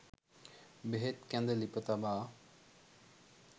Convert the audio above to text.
බෙහෙත් කැඳ ලිප තබා